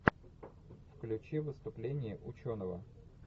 включи выступление ученого